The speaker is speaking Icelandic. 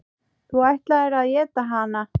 Þú ætlaðir að éta hana.